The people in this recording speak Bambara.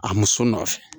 A muso nɔfɛ